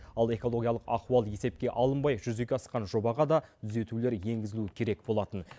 ал экологиялық ахуал есепке алынбай жүзеге асқан жобаға да түзетулер енгізілуі керек болатын